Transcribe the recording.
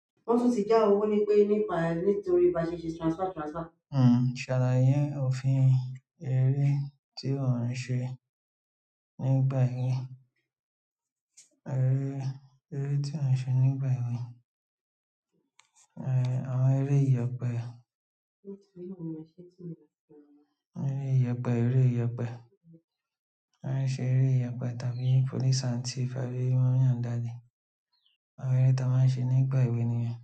Salaye ofiń? Eré tí o ń sẹ́ nígbà ewe. Eré, eré tí a ń ṣe nígbà èwe. Eré, àwọn eré ìyepẹ. Eré ìyepẹ, eré ìyepẹ́. A ń ṣe eré ìyepẹ́ tàbí police and thief àbí wón yàn dádì. Àwọn ẹre tí a máa ń sẹ nígbà èwe nìyẹn.